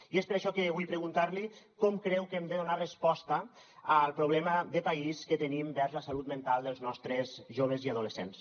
i és per això que vull preguntar li com creu que hem de donar resposta al problema de país que tenim vers la salut mental dels nostres joves i adolescents